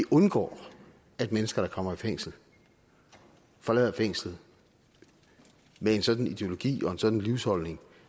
undgår at mennesker der kommer i fængsel forlader fængslet med en sådan ideologi og en sådan livsholdning